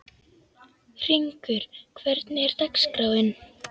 Hringur, hvernig er dagskráin?